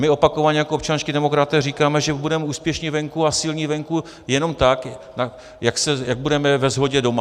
My opakovaně jako občanští demokraté říkáme, že budeme úspěšní venku a silní venku jenom tak, jak budeme ve shodě doma.